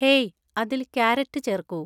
hey അതിൽ carrot ചേർക്കൂ